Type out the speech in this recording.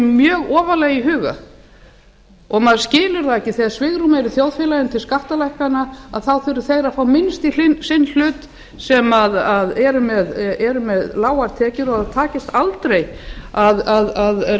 mjög ofarlega í huga þá skilur maður ekki þegar svigrúm er í þjóðfélaginu til skattalækkana að þá fái þeir minnst í sinn hlut sem eru með lágar tekjur og að aldrei takist að rétta